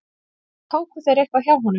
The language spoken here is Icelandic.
Tóku þeir eitthvað hjá honum?